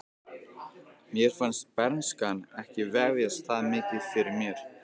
Mér fannst bernskan ekki vefjast það mikið fyrir mér.